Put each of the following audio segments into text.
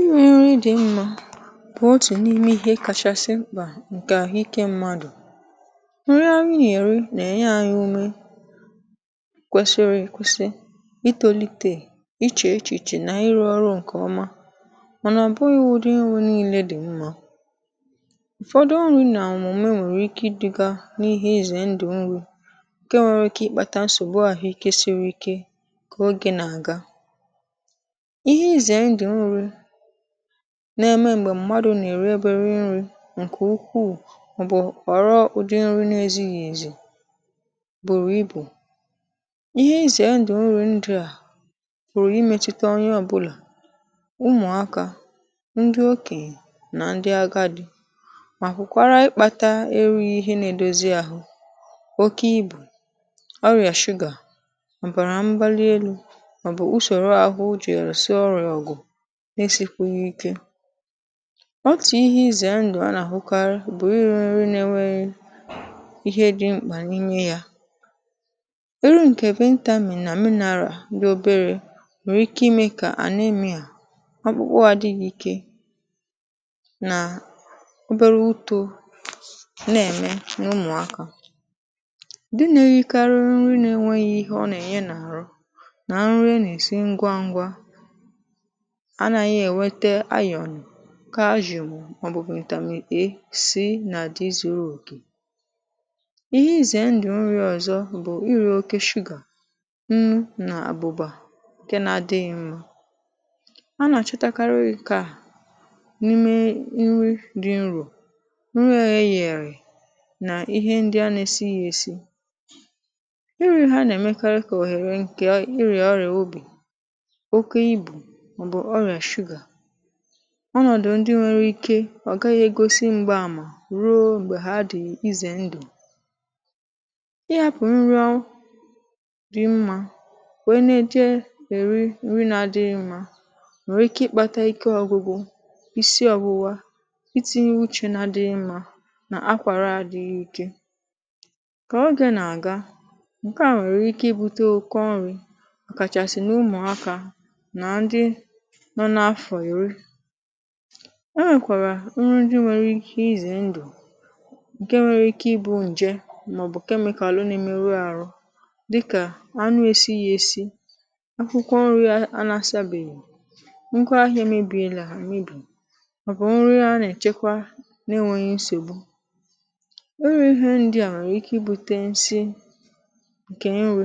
iwe nri dị mmȧ bụ otù n’ime ihe kachasị mkpà ǹkè àhụikė mmadụ nri anyị na-eri nà-ènye anyị ume kwesịrị ekwesị ịtòlite ichè echìche nà ịrụ̇ ọrụ ǹkè ọma mànà ọbụ iwu̇dị inwė nille dị mma ụ̀fọdụ ọrụ nà òmùme nwèrè ike ịdị̇gȧ n’ihe izè ndụ̀ nri ke nwere ike ịkpata nsògbu ahụ̀ ike siri ike kà oge nà-àga ihe ịze ndụ nri na-eme m̀gbè mmadụ̀ nà-èri ebe nri̇ ǹkè ukwuù màọbụ̀ ọrụ ụdị nri̇ na-ezighì ezì bụ̀rụ̀ ibù ihe ịzèndì nri ndị à pụ̀rụ̀ ịmėchite onye ọ̀bụlà ụmụ̀akȧ ndị okè nà ndị agadi màkụ̀ kwara ịkpȧtȧ eru̇ ihe na-edozi àhụ oke ibù ọrị̀à sugar ọbara mbalielu̇ màọbụ̀ usòrò àhụ ujì èrò si ọrị̀à ọ̀gụ̀ n’esìkweghị ikė ọtù ihe izè a ndụ̀ a nà-àhụkarị bụ̀ iri nri nà nweghị ihe dị mkpà n’ime ya iru ǹkè ventral mì nà mineral dị obere nri ike imė kà anemia ọkpụkpụ àdịghị ike nà obere uto nà-ème n’ụmụ̀akȧ di nà-erikarịrị nri na-enweghị ihe ọ nà-ènye nà ahụ nà nri ana-èsi ngwa ngwa anaghị enweta ayon kaajùm mà ọ bụ vitamin e si nà di zurù òkè ihe izè ndù nri ọ̀zọ bụ̀ iri̇ oke shugà nnu nà àbụ̀bà ǹke n’adịghị mmȧ a nà-àchọtakarị nkà n’ime nri dị nrò nri òhe yèrì nà ihe ndi a nė esi yė èsi iri̇ ha nà-èmekarị kà òhèrè ǹkè ịrịa ọrịà obì ọnọ̀dụ̀ ndị nwėrė ike ọ̀ gaghị̇ ègosi m̀gbaàmà ruo m̀gbè ha dị̀ izè ndụ̀ ị yȧpụ̀ nrọ dị mmȧ wèe na-ède èri nri na-adịghị mmȧ nwèrè ike ịkpȧta ike ọ̇gụ̇gụ̇ isi ọ̇wụ̇wȧ ịti̇nye uchè nà dị mmȧ nà akwàra àdịghị ike kà ogė nà-àga ǹke a nwèrè ike ibute ụkọ nrị̇ àkàchàsị̀ n’ụmụ̀akȧ na ndị i nwèkwàrà nri ndị nwere ihe izè ndụ̀ ǹke nwere ike ịbụ̇ ǹje màọ̀bụ̀ kemikàlu nà-emeru àrụ dịkà anụ esi ya esi akwụkwọ nri ya anasa bèyèrè nkwaahịa mebìelà emebì ọ̀bụ̀ nri a nà-èchekwa na-enweghị nsògbu iri ihe ndịà nwèrè ike ịbute nsị ǹkè nri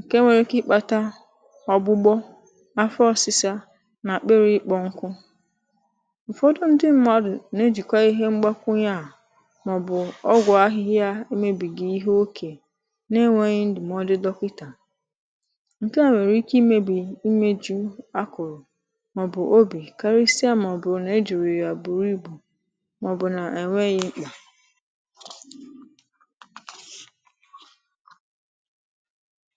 ǹke nwere ike ịkpata ọ̀gbụgbọ afọ ọsịsa nà-àkpịrị̇ ịkpọ nkụ ụ̀fọdụ ndị mmadụ̀ na-ejìkwa ihe mgbakwunye à màọ̀bụ̀ ọgwụ̀ ahịhịa ịmėbìgì ihe okè n’enweghị ndụ̀mọdụ dọkịtà ǹkè a nwèrè ike ịmėbì imėju akụ̀rụ̀ màọ̀bụ̀ obì karịsịa màọ̀bụ̀ nà-ejùrì yà bùrù ibù màọ̀bụ̀ nà ènweghị ịkpà pause